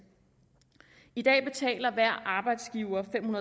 i dag betaler hver arbejdsgiver fem